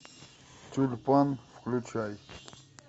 тюльпан включай